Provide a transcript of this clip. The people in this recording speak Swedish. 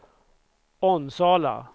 Onsala